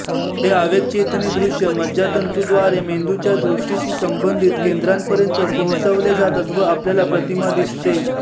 हे आवेगचेतनी दृश्य मज्जातंतूद्वारे मेंदूच्या दृष्टीशी संबंधीत केंद्रांपर्यंत पोहोचवले जातात व आपल्याला प्रतिमा दिसते